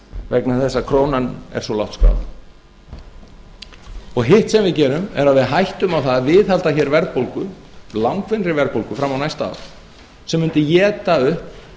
vegna þess að krónan er svo lágt skráð hitt sem gerum er að við hættum á það að viðhalda hér verðbólgu langvinnri verðbólgu fram á næsta ár sem mundi éta upp